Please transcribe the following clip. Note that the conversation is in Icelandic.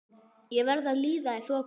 Ég verð að líða í þokunni.